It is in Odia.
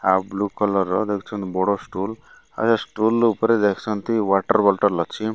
ଆଉ ବ୍ଲୁ କଲର ର ଦେଖୁଛନ୍ତି ବଡ଼ ଷ୍ଟୁଲ୍ ଆଉ ଏ ଷ୍ଟୁଲ୍ ଉପରେ ଦେଖୁଛନ୍ତି ୱେଟର୍ ବୋଟୋଲ୍ ଲାଗଛି।